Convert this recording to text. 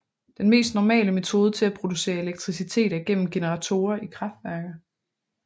Den mest normale metode til at producere elektricitet er gennem generatorer i kraftværker